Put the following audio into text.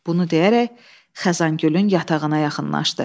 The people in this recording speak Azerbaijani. Bunu deyərək, Xəzəngülün yatağına yaxınlaşdı.